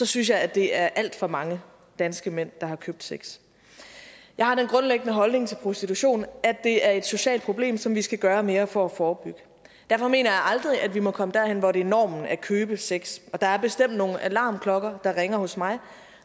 synes jeg at det er alt for mange danske mænd der har købt sex jeg har den grundlæggende holdning til prostitution at det er et socialt problem som vi skal gøre mere for at forebygge derfor mener jeg aldrig at vi må komme derhen hvor det er normen at købe sex og der er bestemt nogle alarmklokker der ringer hos mig